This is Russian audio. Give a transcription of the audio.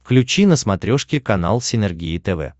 включи на смотрешке канал синергия тв